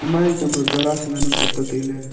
ima jenchang ba gara chu ngan ang kapley tailey.